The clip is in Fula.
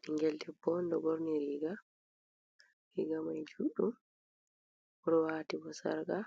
Ɓinngel debbo ɗo ɓorni riiga, riiga may juuɗɗum, o ɗo waati bo sarka